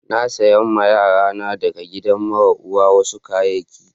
Na saya ma yaran da ka gidan mara uwa wasu kayaki.